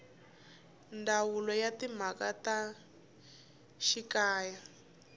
ndzawulo ya timhaka ta xikaya